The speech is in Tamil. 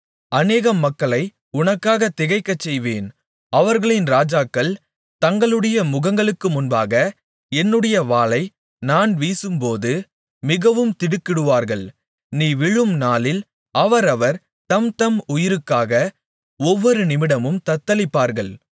அநேகம் மக்களை உனக்காக திகைக்கச்செய்வேன் அவர்களின் ராஜாக்கள் தங்களுடைய முகங்களுக்கு முன்பாக என்னுடைய வாளை நான் வீசும்போது மிகவும் திடுக்கிடுவார்கள் நீ விழும் நாளில் அவரவர் தம்தம் உயிருக்காக ஒவ்வொரு நிமிடமும் தத்தளிப்பார்கள்